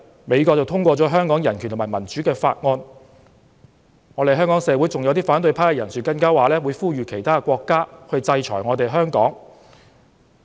美國最近通過了《香港人權與民主法案》，香港社會上有些反對派人士還說會呼籲其他國家制裁香港。